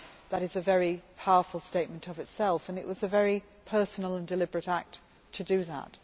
That was a very powerful statement in itself and it was a very personal and deliberate act to do that.